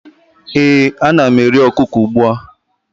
ee, ana m eri okuko ugbua